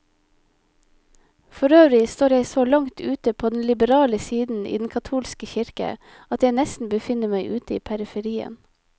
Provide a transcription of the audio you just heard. Forøvrig står jeg så langt ute på den liberale side i den katolske kirke, at jeg nesten befinner meg ute i periferien.